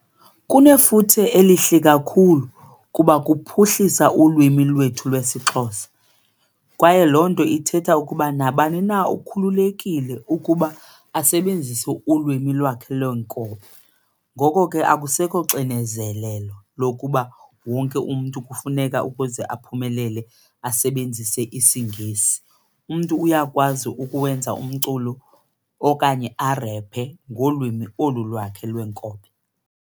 Kunefuthe elihle kakhulu kuba kuphuhlisa ulwimi lwethu lwesiXhosa kwaye loo nto ithetha ukuba nabani na ukhululekile ukuba asebenzise ulwimi lwakhe lwenkobe. Ngoko ke akusekho cinezelelo lokuba wonke umntu kufuneka ukuze aphumelele asebenzise isiNgesi. Umntu uyakwazi ukuwenza umculo okanye arephe ngolwimi olu lwakhe lwenkobe.